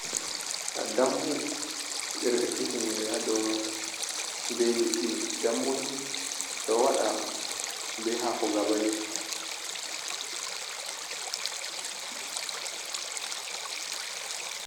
Dambu ɓe ɗo he’i tinyere ha dou mai be liɗɗi, dambu ni ɗo waɗa be haako gabaii.